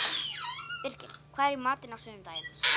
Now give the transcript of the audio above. Birgir, hvað er í matinn á sunnudaginn?